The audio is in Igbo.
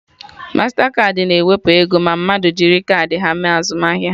Mastakaadị na-ewepụ ego ma mmadụ jiri kaadị ha mee azụmahịa